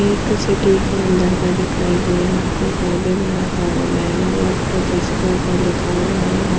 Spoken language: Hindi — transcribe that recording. एक सिटी के अंदर का दिखाई दे रहा है यहां प बड़ा सारा बेनर और कुछ उसके ऊपर लिखा हुआ है और --